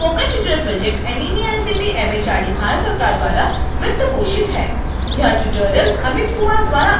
spoken tutorial project nmeict mhrd Bharat सरकार द्वारा वित्तपोषित है